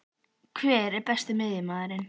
Hver er Besti miðjumaðurinn?